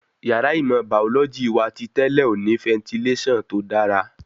Yàrá ìmọ̀ bàọ́lọ́jì wa ti tẹ́lẹ̀ ò ní fẹntilásàn tó dára